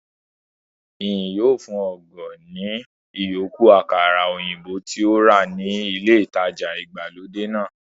Ìyìn yóò fun ògo ní ìyókù àkàrà òyìnbó tí ó rà ní ilé ìtajà ìgbàlódé náà